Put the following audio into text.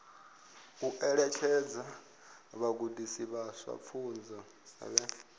ṋetshedza vhagudiswa vhashu pfunzo vhe